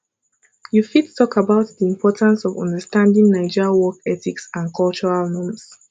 you fit talk about di importance of understanding naija work ethics and cultural norms